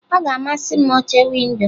Ọ ga-amasị m oche windo.